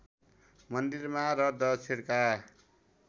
मन्दिरमा र दक्षिणका